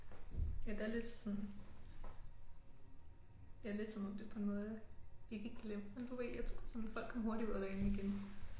Ja der er lidt sådan ja lidt som om det på en måde er ikke glemt men du ved jeg tror sådan folk kom hurtigt ud af vanen igen